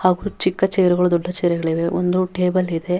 ಹಾಗು ಚಿಕ್ಕ ಚೆರ್ಗಳು ದೊಡ್ಡ ಚೇರ್ಗಳು ಇದೆ ಒಂದು ಟೇಬಲ್ ಇದೆ.